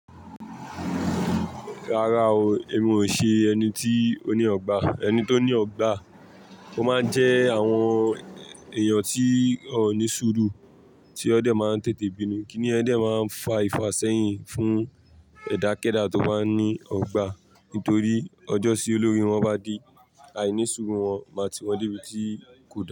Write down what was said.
Rárá o, èmi ò ṣe ẹni tí ó ní ọgbà. Ẹni tó ní ọgbà ó máa ń jẹ́ àwọn èèyàn tí ònísùúrù tí ó dẹ̀ máa ń tètè bínú. Kíni ẹ dẹ̀ máa ń fa ifá sẹ́yìn fún ẹ̀dàkéẹ̀dà tó ba ní ọgbà nítorí ọjọ́tí olóre wọn bá di àìnísùúrù wọn máa ti wọn dé ibi tí kò da.